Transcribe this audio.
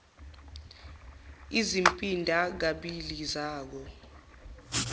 izimpinda kabili zako